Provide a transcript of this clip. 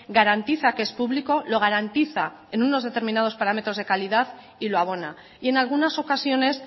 garantiza que es público lo garantiza en unos determinados parámetros de calidad y lo abona y en algunas ocasiones